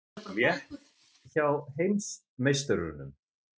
Létt hjá heimsmeisturunum